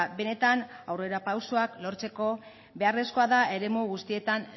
benetan aurrerapausoak lortzeko beharrezkoa da eremu guztietan